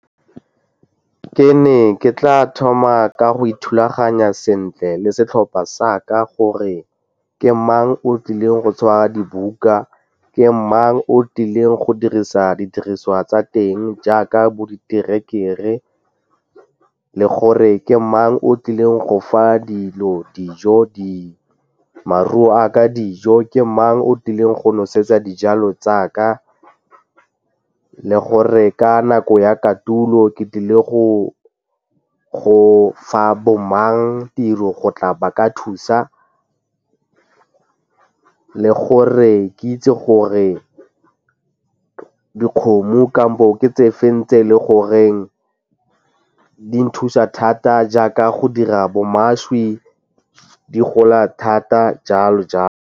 Ke ne ke tla thoma ka go ithulaganya sentle le setlhopha sa ka gore ke mang o tlileng go sheba di buka, ke mang o tlileng go dirisa didiriswa tsa teng jaaka bo diterekere le gore ke mang o tlileng go fa dilo dijo maruo a ka dijo, ke mang o tlileng go nosetsa dijalo tsa ka le gore ka nako ya kotulo ke tlile go go fa bo mang tiro go tla ba ka thusa gore ke itse gore dikgomo kampo o ke tse feng tse e le goreng di nthusa thata jaaka go dira bo mašwi di gola thata, jalo jalo.